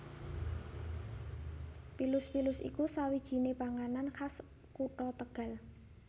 PilusPilus iku sawijinè panganan khas kutha Tegal